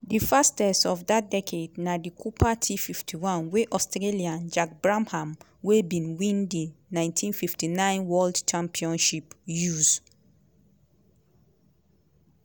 di fastest of dat decade na di cooper t51 wey australian jack brabham wey bin win di 1959 world championship use.